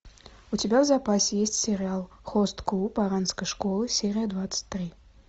у тебя в запасе есть сериал хост клуб оранской школы серия двадцать три